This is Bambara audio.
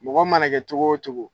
Mɔgɔ mana kɛ cogo o cogo